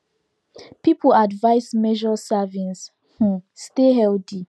people advised measure servings um stay healthy